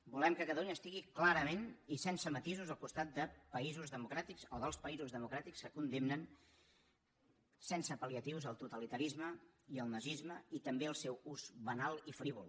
volem que catalunya estigui clarament i sense matisos al costat de països democràtics o dels països democràtics que condemnen sense pal·liatius el totalitarisme i el nazisme i també el seu ús banal i frívol